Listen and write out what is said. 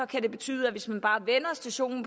det betyde at hvis man bare vender stationen